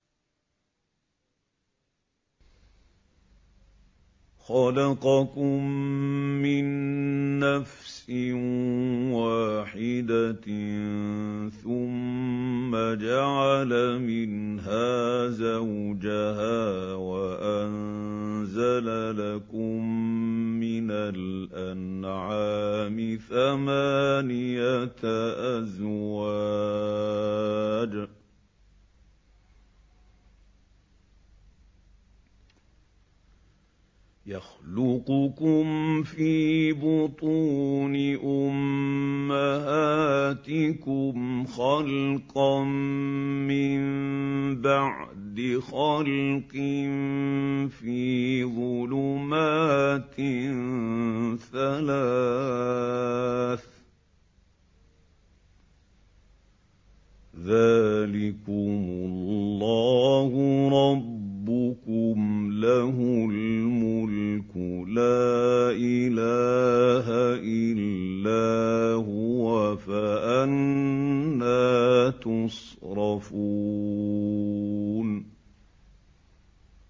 خَلَقَكُم مِّن نَّفْسٍ وَاحِدَةٍ ثُمَّ جَعَلَ مِنْهَا زَوْجَهَا وَأَنزَلَ لَكُم مِّنَ الْأَنْعَامِ ثَمَانِيَةَ أَزْوَاجٍ ۚ يَخْلُقُكُمْ فِي بُطُونِ أُمَّهَاتِكُمْ خَلْقًا مِّن بَعْدِ خَلْقٍ فِي ظُلُمَاتٍ ثَلَاثٍ ۚ ذَٰلِكُمُ اللَّهُ رَبُّكُمْ لَهُ الْمُلْكُ ۖ لَا إِلَٰهَ إِلَّا هُوَ ۖ فَأَنَّىٰ تُصْرَفُونَ